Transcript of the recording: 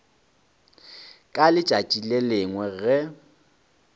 ka letšatši le lengwe ge